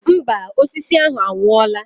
Mba, osisi ahụ anwụọla.